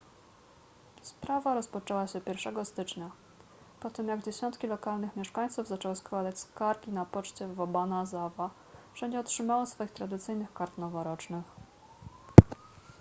sprawa rozpoczęła się 1 stycznia po tym jak dziesiątki lokalnych mieszkańców zaczęło składać skargi na poczcie w obanazawa że nie otrzymało swoich tradycyjnych kart noworocznych